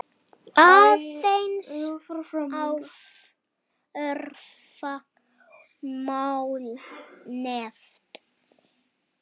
Aðeins örfá mál nefnd.